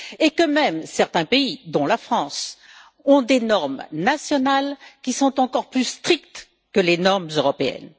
Et que même certains pays dont la France ont des normes nationales qui sont encore plus strictes que les normes européennes.